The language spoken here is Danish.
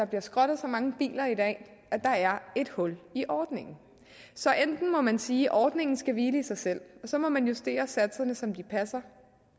bliver skrottet så mange biler at der er et hul i ordningen så enten må man sige ordningen skal hvile i sig selv så må man justere satserne så de passer